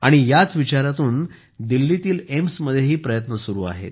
याच विचारातून दिल्लीतील एम्समध्येही प्रयत्न सुरू आहेत